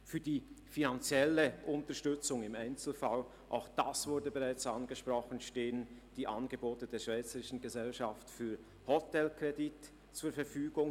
Für die finanzielle Unterstützung im Einzelfall – auch das wurde bereits angesprochen – stehen die Angebote der SGH zur Verfügung.